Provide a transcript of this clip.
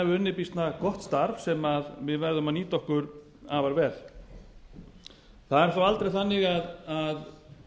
hafi unnið býsna gott starf sem við verðum að nýta okkur afar vel það er þó aldrei þannig að